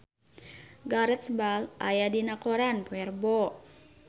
Gareth Bale aya dina koran poe Rebo